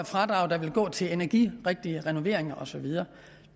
fradrag der ville gå til energirigtige renoveringer og så videre